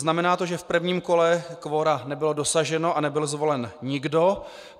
Znamená to, že v prvním kole kvora nebylo dosaženo a nebyl zvolen nikdo.